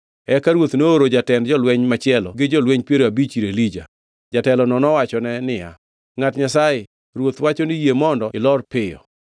Eka ruoth nooro jatend jolweny machielo gi jolweny piero abich ir Elija. Jatelono nowachone Elija niya, ngʼat Nyasaye, ruoth wacho ni yie mondo ilor piyo.